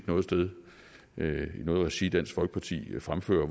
noget sted i noget regi set dansk folkeparti fremføre